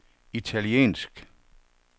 italiensk